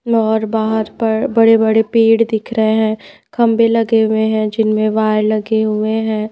और बाहर पर बड़े-बड़े पेड़ दिख रहे हैं खंबे लगे हुए हैं जिनमें वायर लगे हुए हैं।